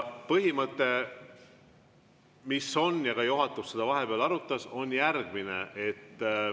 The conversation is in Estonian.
Põhimõte, mis meil on, ja ka juhatus seda vahepeal arutas, on järgmine.